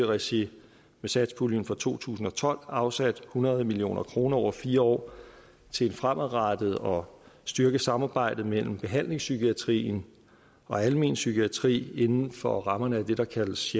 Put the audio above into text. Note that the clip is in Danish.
regi af satspuljen for to tusind og tolv afsat hundrede million kroner over fire år til et fremadrettet og styrket samarbejde mellem behandlingspsykiatrien og almen psykiatri inden for rammerne af det der kaldes